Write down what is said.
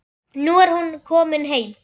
Nú er hún komin heim.